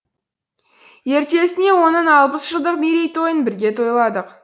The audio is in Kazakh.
ертесіне оның алпыс жылдық мерейтойын бірге тойладық